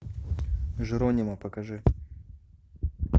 джеронимо покажи